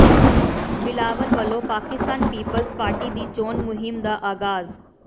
ਬਿਲਾਵਲ ਵੱਲੋਂ Pakistan Peoples Party ਦੀ ਚੋਣ ਮੁਹਿੰਮ ਦਾ ਆਗਾਜ਼